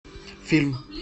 фильм